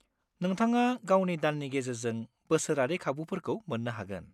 नोंथाङा गावनि दाननि गेजेरजों बोसोरारि खाबुफोरखौ मोन्नो हागोन।